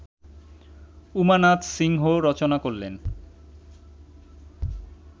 উমানাথ সিংহ রচনা করলেন